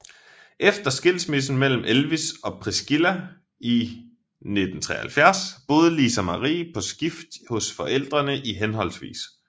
Efter skilsmissen mellem Elvis og Priscilla i 1973 boede Lisa Marie på skift hos forældrene i hhv